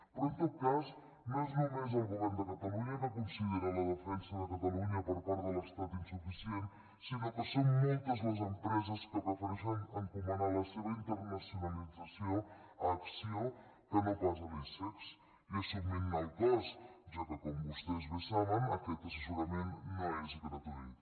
però en tot cas no és només el govern de catalunya que considera la defensa de catalunya per part de l’estat insuficient sinó que són moltes les empreses que prefereixen encomanar la seva internacionalització a acció que no pas a l’icex i assumint ne el cost ja que com vostès bé saben aquest assessorament no és gratuït